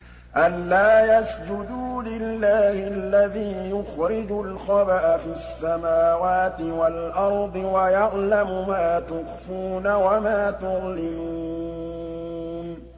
أَلَّا يَسْجُدُوا لِلَّهِ الَّذِي يُخْرِجُ الْخَبْءَ فِي السَّمَاوَاتِ وَالْأَرْضِ وَيَعْلَمُ مَا تُخْفُونَ وَمَا تُعْلِنُونَ